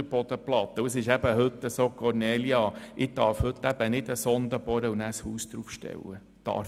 Kornelia Hässig, heute ist es eben nicht so, dass ich eine Sonde bohren und danach ein Haus darauf stellen darf.